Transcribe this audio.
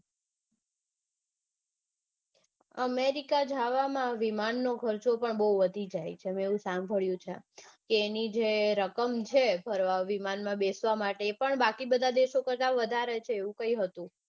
America જાવામાં વિમાન નો ખર્ચો પણ બઉ છે મેં એવું સાંભળ્યું છે કે એની જે રકમ છે ભરવા વિમાનમાં બેસવા માટે એ પણ બાકી બધા દેશો કરતા વધારે છે એવું કાંઈ હતું